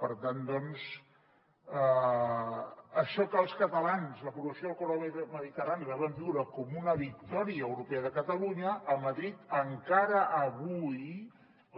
per tant doncs això que els catalans l’aprovació del corredor mediterrani vam viure com una victòria europea de catalunya a madrid encara avui